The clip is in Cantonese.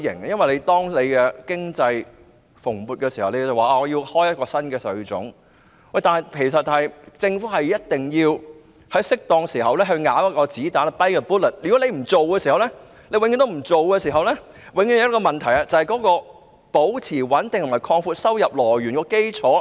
事實上，在經濟蓬勃時開徵新稅種，就像政府一定要在適當時候咬一粒子彈一樣，如果永遠不去做的話，永遠都會有一個問題，就是無法保持收入穩定和擴闊收入來源的基礎。